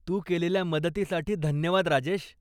तू केलेल्या मदतीसाठी धन्यवाद राजेश.